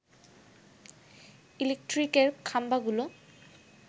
ইলেকট্রিকের খাম্বাগুলো